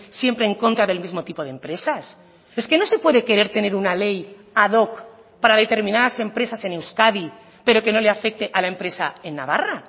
siempre en contra del mismo tipo de empresas es que no se puede querer tener una ley ad hoc para determinadas empresas en euskadi pero que no le afecte a la empresa en navarra